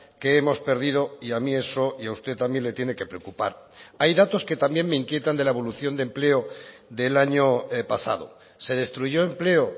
que hemos perdido y a mí eso y a usted también le tiene que preocupar hay datos que también me inquietan de la evolución de empleo del año pasado se destruyó empleo